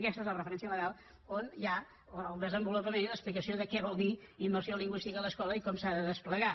aquesta és la referència legal on hi ha el desenvolupament i l’explicació de què vol dir immersió lingüística a l’escola i com s’ha de desplegar